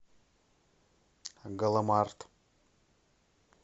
галамарт